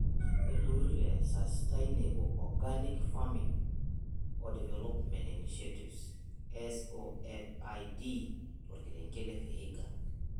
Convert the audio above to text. Ilrururi le Sustainable organic farming oo development inishietive (SOFID) torkerenket le vihiga.